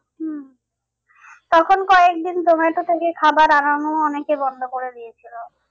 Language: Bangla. হম তখন কয়েকদিন জোমাটো থেকে খাবার আনানো অনেকে বন্ধ করে দিয়েছিলো।